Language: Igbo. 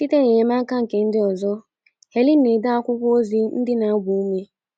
Site n’enyemaka nke ndị ọzọ, Helen na - ede akwụkwọ ozi ndị na - agba ume